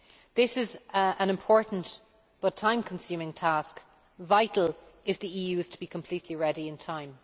This is an important but time consuming task vital if the EU is to be completely ready in time.